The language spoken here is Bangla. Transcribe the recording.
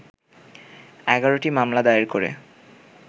১১টি মামলা দায়ের করে